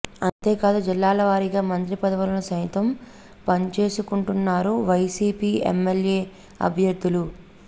అంతేకాదు జిల్లాల వారీగా మంత్రి పదవులను సైతం పంచేసుకుంటున్నారు వైసీపీ ఎమ్మెల్యే అభ్యర్థులు